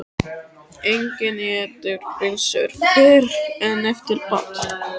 Enginn étur pylsur fyrr en eftir ball.